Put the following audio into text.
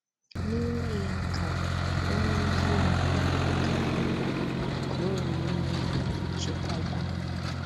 N’ime ya ka onye ezi omume ga - agbaba, ka o wee nwee chekwaba. ”